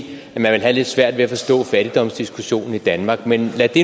have lidt svært ved at forstå fattigdomsdiskussionen i danmark men lad det